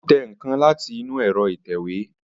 Ó tẹ nǹkan láti inú ẹ̀rọ ìtẹ̀wé